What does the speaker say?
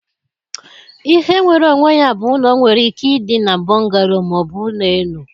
Ihe nwere onwe ya bụ ụlọ nwere ike ịdị na bungalow ma ọ bụ ụlọ elu